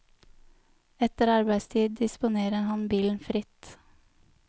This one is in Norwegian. Etter arbeidstid disponerer han bilen fritt.